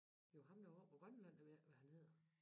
Jo der var oppe på Grønland jeg ved ikke hvad han hedder